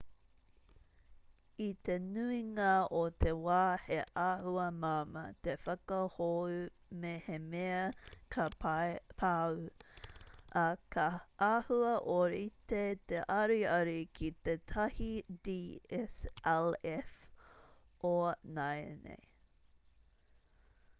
i te nuinga o te wā he āhua māmā te whakahou mehemea ka pau ā ka āhua ōrite te ariari ki tētahi dslf o nāianei